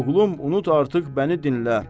Oğlum, unut, artıq bəni dinlə.